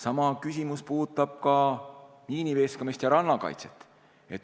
Sama küsimus puudutab ka miiniveeskamist ja rannakaitset.